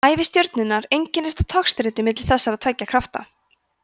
ævi stjörnunnar einkennist af togstreitu milli þessara tveggja krafta